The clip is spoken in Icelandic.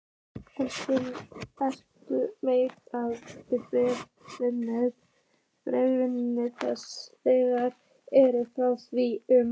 Elstu menjar um brennisteinsvinnslu þar eru frá því um